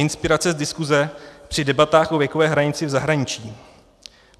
Inspirace z diskuse při debatách o věkové hranici v zahraničí.